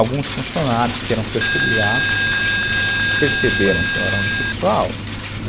Alguns funcionários que eram terceirizados perceberam que eu era homossexual, né?